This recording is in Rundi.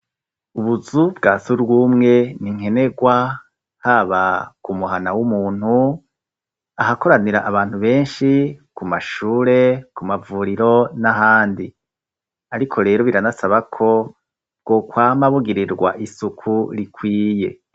Ubuzu bwa sugwumwe ni nkenegwa haba ku muhana w'umuntu ahakoranira abantu benshi ku mashure ku mavuriro n'ahandi ariko rero biranasaba ko bwo kwamabugirirwa isuku rikwiye.